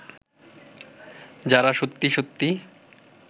যাঁরা সত্যি সত্যি